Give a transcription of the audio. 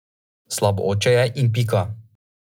Slab oče je in pika.